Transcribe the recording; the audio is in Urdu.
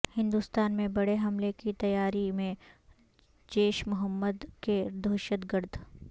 ہندوستان میں بڑے حملے کی تیاری میں جیش محمد کے دہشت گرد